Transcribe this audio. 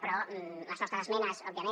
però les nostres esmenes òbviament